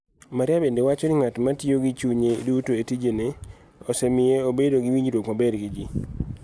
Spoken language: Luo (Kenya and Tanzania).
Maria benide wacho nii bedo nig'at ma tiyo gi chuniye duto e tijeni e, osemiyo obedo gi winijruok maber gi ji.